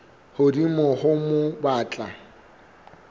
hodimo ho moo ba tla